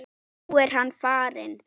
Nú er hann farinn.